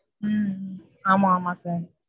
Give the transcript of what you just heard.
உம் ஆமா ஆமா sir.